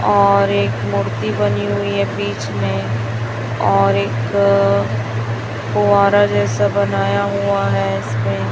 और एक मूर्ति बनी हुई है बीच में और एक अ फुब्बारा जैसा बनाया हुआ है इसमें--